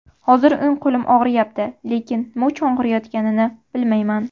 Hozir o‘ng qo‘lim og‘riyapti, lekin nima uchun og‘riyotganini bilmayman.